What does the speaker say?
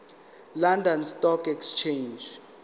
london stock exchange